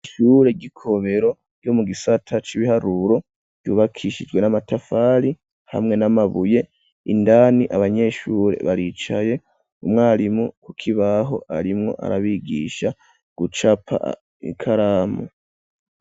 Ishure ryi Komero ryo mu gisata c'ibiharuro ryubakishijwe n'amatafari hamwe n'amabuye indani abanyeshure baricaye umwarimu ku kibaho arimwo arabigisha gucapa ikaramu.